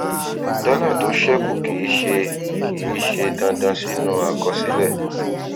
dọlà tó ṣẹkù kì í ṣe kì í ṣe dandan sínú àkọsílẹ